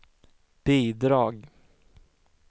bidrag